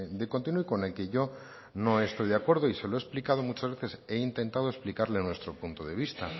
de continuo y con el que yo no he estoy de acuerdo y se lo he explicado muchas veces he intentado explicarle nuestro punto de vista